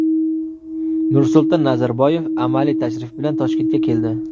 Nursulton Nazarboyev amaliy tashrif bilan Toshkentga keldi.